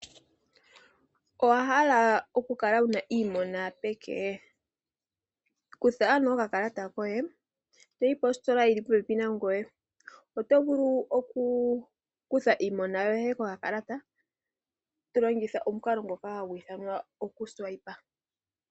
Owahala oku kala wuna iimona peke? Kutha ano oka kalata koye etoyi positola yili popepi nangoye otovulu oku kutha iimona yoye ko ka kalata, tolongitha omukalo ngoka hagu ithanwa okuswipa.